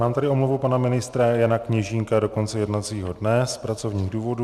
Mám tady omluvu pana ministra Jana Kněžínka do konce jednacího dne z pracovních důvodů.